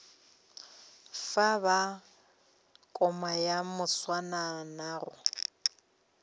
fo ba koma ya moswanano